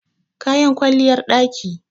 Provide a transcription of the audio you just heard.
kayan kwalliyar ɗaki